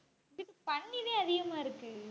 அங்கிட்டு பன்றிதான் அதிகமா இருக்கு